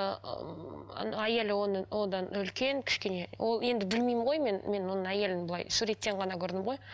ыыы әйелі оның одан үлкен кішкене ол енді білмеймін ғой мен мен оның әйелін былай суреттен ғана көрдім ғой